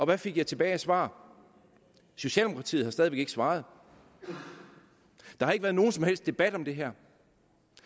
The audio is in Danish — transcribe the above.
hvad fik jeg tilbage af svar socialdemokratiet har stadig væk ikke svaret der har ikke været nogen som helst debat om det her